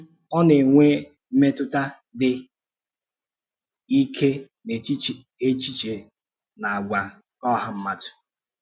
um Ọ na-enwe mmetụta dị um ike n’echiche na àgwà nke ọha mmadụ.